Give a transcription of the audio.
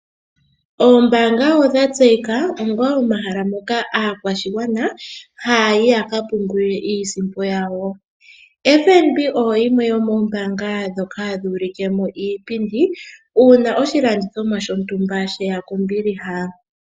Oombanga odha tseyika onga omahala ngoka aakwashigwana ha yayi ya kapungule iisimpo yawo. FNB oyo yimwe yomoombanga ndhoka hadhi ulikemo iipindi uuna oshilandithomwa shontumba sheya kombiliha.